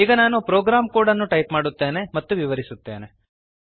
ಈಗ ನಾನು program code ಅನ್ನು ಟೈಪ್ ಮಾಡುತ್ತೇನೆ ಮತ್ತು ವಿವರಿಸುತ್ತೇನೆ